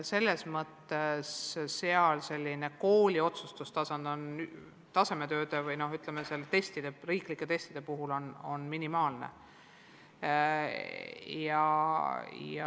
Selles mõttes on kooli otsustustasand tasemetööde või, ütleme, üleriigiliste testide puhul minimaalne.